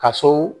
Ka so